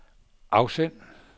afsend